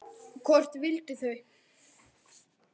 Hvort vildu þau?